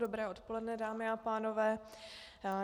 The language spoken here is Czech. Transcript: Dobré odpoledne, dámy a pánové.